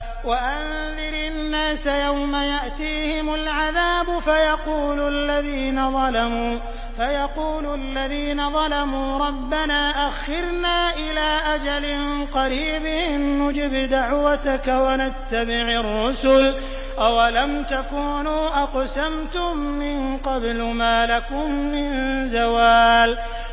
وَأَنذِرِ النَّاسَ يَوْمَ يَأْتِيهِمُ الْعَذَابُ فَيَقُولُ الَّذِينَ ظَلَمُوا رَبَّنَا أَخِّرْنَا إِلَىٰ أَجَلٍ قَرِيبٍ نُّجِبْ دَعْوَتَكَ وَنَتَّبِعِ الرُّسُلَ ۗ أَوَلَمْ تَكُونُوا أَقْسَمْتُم مِّن قَبْلُ مَا لَكُم مِّن زَوَالٍ